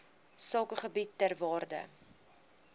sakegebiede ter waarde